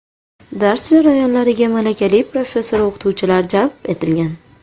Dars jarayonlariga malakali professor-o‘qituvchilar jalb etilgan.